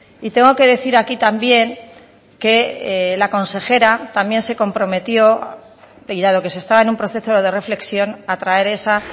y tengo que decir aquí también que la consejera también se comprometió y dado que se está en un proceso de reflexión a traer esa